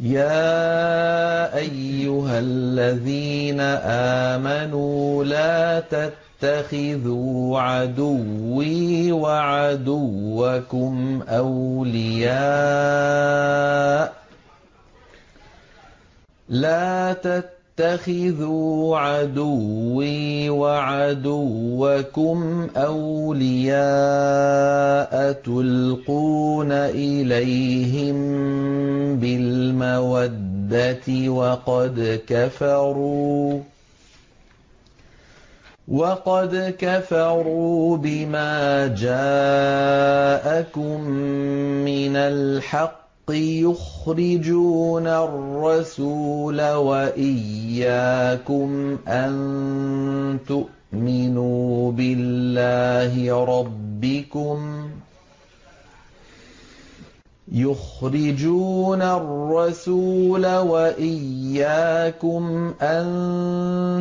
يَا أَيُّهَا الَّذِينَ آمَنُوا لَا تَتَّخِذُوا عَدُوِّي وَعَدُوَّكُمْ أَوْلِيَاءَ تُلْقُونَ إِلَيْهِم بِالْمَوَدَّةِ وَقَدْ كَفَرُوا بِمَا جَاءَكُم مِّنَ الْحَقِّ يُخْرِجُونَ الرَّسُولَ وَإِيَّاكُمْ ۙ أَن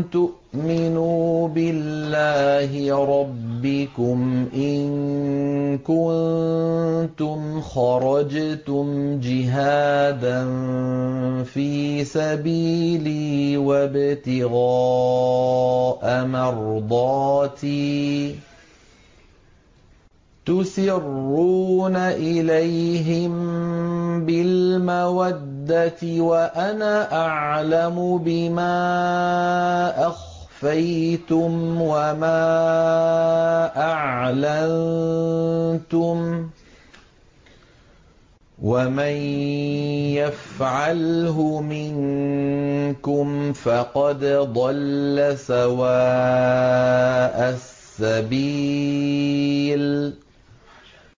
تُؤْمِنُوا بِاللَّهِ رَبِّكُمْ إِن كُنتُمْ خَرَجْتُمْ جِهَادًا فِي سَبِيلِي وَابْتِغَاءَ مَرْضَاتِي ۚ تُسِرُّونَ إِلَيْهِم بِالْمَوَدَّةِ وَأَنَا أَعْلَمُ بِمَا أَخْفَيْتُمْ وَمَا أَعْلَنتُمْ ۚ وَمَن يَفْعَلْهُ مِنكُمْ فَقَدْ ضَلَّ سَوَاءَ السَّبِيلِ